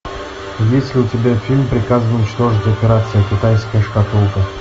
есть ли у тебя фильм приказано уничтожить операция китайская шкатулка